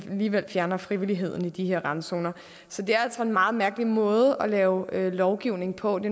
alligevel fjerner frivilligheden i de her randzoner så det er altså en meget mærkelig måde at lave lovgivning på det